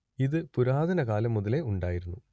ഇത് പുരാതന കാലം മുതലേ ഉണ്ടായിരുന്നു